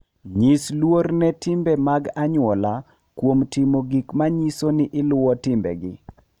Nyis luor ne timbe mag anyuola kuom timo gik ma nyiso ni iluwo timbegi.